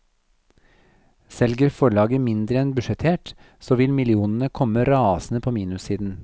Selger forlaget mindre enn budsjettert, så vil millionene komme rasende på minussiden.